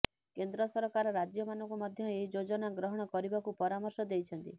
କେନ୍ଦ୍ର ସରକାର ରାଜ୍ୟମାନଙ୍କୁ ମଧ୍ୟ ଏହି ଯୋଜନା ଗ୍ରହଣ କରିବାକୁ ପରାମର୍ଶ ଦେଇଛନ୍ତି